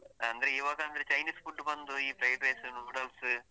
ಅಂದ್ರೆ ಇವಾಗ ಅಂದ್ರೆ chinese food ಬಂದು ಈ fried rice noodles .